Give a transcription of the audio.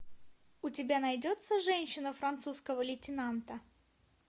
у тебя найдется женщина французского лейтенанта